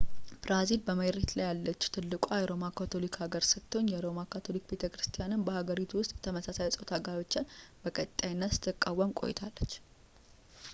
ብራዚል በመሬት ላይ ያለች ትልቋ የሮማ ካቶሊክ ሀገር ስትሆን የሮማ ካቶሊክ ቤተክርስቲያንም በሀገሪቷ ውስጥ የተመሳሳይ ፆታ ጋብቻን በቀጣይነት ስትቃወም ቆይታለች